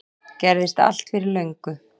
Gerðist allt fyrir löngu